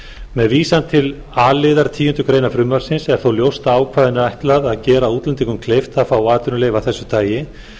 með vísan til a liðar tíundu greinar frumvarpsins er þó ljóst að ákvæðinu er ætlað að gera útlendingi kleift að fá atvinnuleyfi af þessu tagi